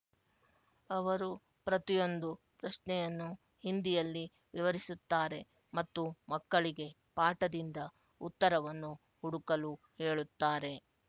ಅವರು ಪ್ರತಿಯೊಂದು ಪ್ರಶ್ನೆಯನ್ನು ಹಿಂದಿಯಲ್ಲಿ ವಿವರಿಸುತ್ತಾರೆ ಮತ್ತು ಮಕ್ಕಳಿಗೆ ಪಾಠದಿಂದ ಉತ್ತರವನ್ನು ಹುಡುಕಲು ಹೇಳುತ್ತಾರೆ